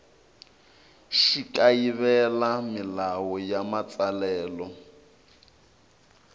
xi kayivela milawu ya matsalelo